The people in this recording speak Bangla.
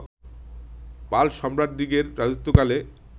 পাল সম্রাটদিগের রাজত্বকালে